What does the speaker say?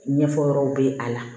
Ɲɛfɔ yɔrɔw bɛ a la